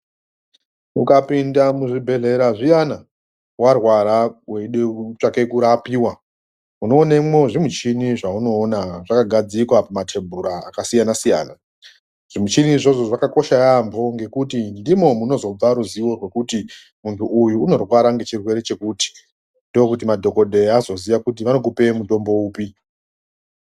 Ukapinda muzvibhedhlera zviyani warwara weindotsvake kurapiwa unoonemwo zvimuchini zvaunoona zvakagadzikwa patebhura yakasiyana siyana zvimuchini izvozvo zvakakosha yaampo ngekuti ndimo munozobva ruzivo rwokuti muntu uyu unorwara ngechirwere chokuti ndokuti madhokodheya azoziya kuti vanokupe mutombo upi.